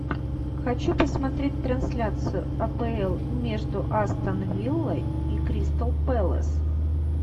хочу посмотреть трансляцию апл между астон виллой и кристал пэлас